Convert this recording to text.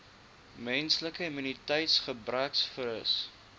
menslike immuniteitsgebrekvirus